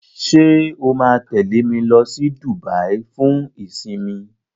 ṣe o ma tẹle me ló sì Dubai fún isinmi?